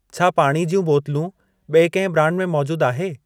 छा पाणी ज्यूं बोतलूं ॿिई कंहिं ब्रांड में मौजूद आहे?